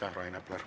Aitäh, Rain Epler!